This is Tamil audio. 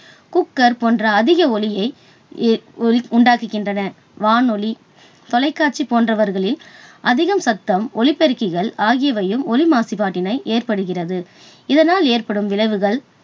குக்கர் போன்ற அதிக ஒலியை இ~உண்டாக்குகின்றன. வானொலி, தொலைக்காட்சி போன்றவர்களில் அதிக சத்தம் உள்ள ஒலிபெருக்கிகள் ஆகியவையும் ஒலி மாசுபாட்டினை ஏற்படுகிறது. இதனால் ஏற்படும் விளைவுகள்